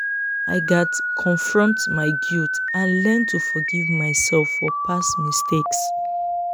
i gats confront my guilt and learn to forgive myself for past mistakes.